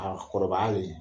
A kɔrɔbayalen